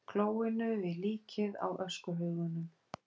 klóinu við líkið á öskuhaugunum.